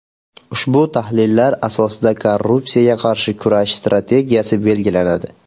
Ushbu tahlillar asosida korrupsiyaga qarshi kurash strategiyasi belgilanadi.